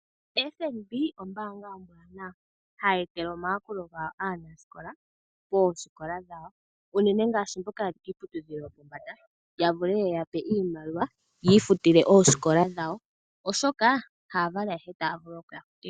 FNB ombaanga ombwaanawa hayi etele omayakulo gawo aanasikola poosikola dhawo, unene ngashi mboka yeli kiiputudhilo yopombanda. Ya vule yeya pe iimaliwa yiifutile oosikola dhawo oshoka haya vali ayehe taya vulu okuya futila.